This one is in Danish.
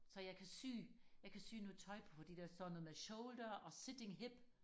så jeg kan sy jeg kan sy noget tøj på fordi der står noget med shoulder og sitting hip